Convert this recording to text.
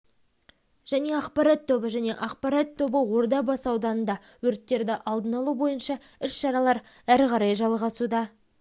және ақпарат тобы және ақпарат тобы ордабасы ауданында өрттерді алдын алу бойынша іс-шаралар әрі қарай жалғасуда